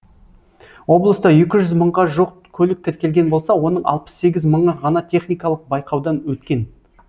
облыста екі жүз мыңға жуық көлік тіркелген болса оның алпыс сегіз мыңы ғана техникалық байқаудан өткен